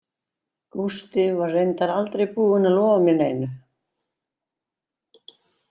Gústi var reyndar aldrei búinn að lofa mér neinu.